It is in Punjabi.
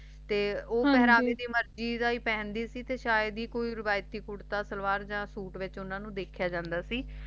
ਤੇ ਉ ਹਾਂਜੀ ਪਹਿਰਾ ਵੀ ਮਰਜ਼ੀ ਦਾ ਹੈ ਪਹਿਨ ਦੀ ਸੀ ਤੇ ਸ਼ਇਦ ਹੈ ਕੋਈ ਰਿਵਾਇਤੀ ਕੁੜਤਾ ਸ਼ਲਵਾਰ ਵਿਚ ਉਨ੍ਹਾਂ ਨੂੰ ਦੇਖ ਜੇ ਦਾ